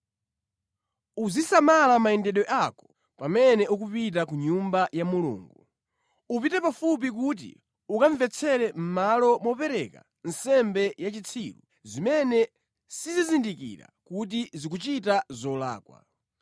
Uzisamala mayendedwe ako pamene ukupita ku nyumba ya Mulungu. Upite pafupi kuti ukamvetsere mʼmalo mopereka nsembe ya zitsiru zimene sizizindikira kuti zikuchita zolakwa.